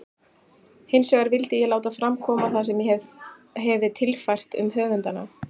Hinsvegar vildi ég láta fram koma það sem ég hefi tilfært um höfundana.